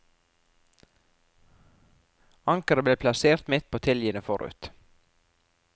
Ankeret ble plassert midt på tiljene forut.